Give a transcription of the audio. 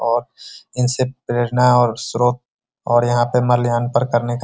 और इनसे प्रेरणा और स्रोत और यहाँ पर माल्यार्पण करने का --